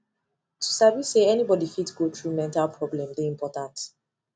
to sabi say any body fit go through mental problem de important